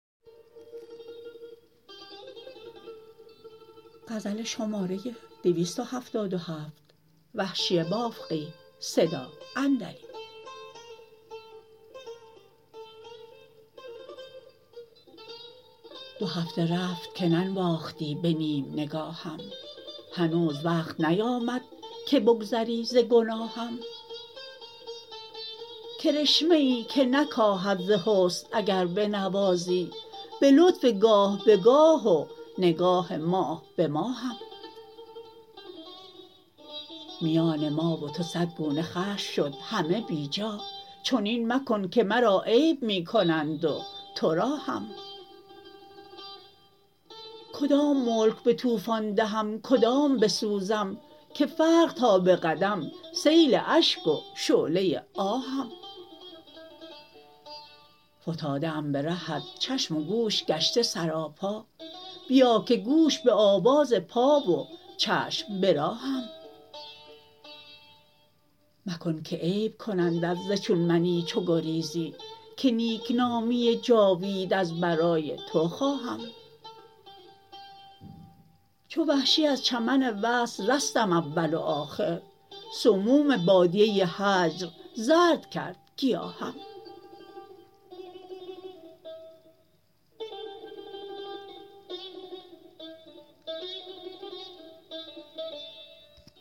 دو هفته رفت که ننواختی به نیم نگاهم هنوز وقت نیامد که بگذری ز گناهم کرشمه ای که نکاهد ز حسن اگر بنوازی به لطف گاه به گاه و نگاه ماه به ماهم میان ما و تو سد گونه خشم شد همه بیجا چنین مکن که مرا عیب می کنند و ترا هم کدام ملک به توفان دهم کدام بسوزم که فرق تا به قدم سیل اشک و شعله آهم فتاده ام به رهت چشم و گوش گشته سراپا بیا که گوش به آواز پا و چشم به راهم مکن که عیب کنندت ز چون منی چو گریزی که نیکنامی جاوید از برای تو خواهم چو وحشی از چمن وصل رستم اول وآخر سموم بادیه هجر زرد کرد گیاهم